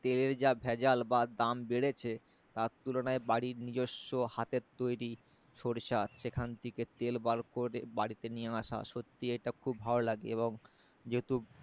তেলের যা ভেজাল বা দাম বেড়েছে তার তুলনায় বাড়ির নিজস্ব হাতের তৈরি সরিষা সেখান থেকে তেল বার করে বাড়িতে নিয়ে আশা সত্যি এটা খুব ভালো লাগে এবং যেহেতু